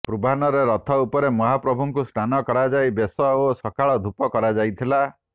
ପୂର୍ବାହ୍ନରେ ରଥ ଉପରେ ମହାପ୍ରଭୁଙ୍କୁ ସ୍ନାନ କରାଯାଇ ବେଶ ଓ ସକାଳ ଧୂପ କରାଯାଇଥିଲା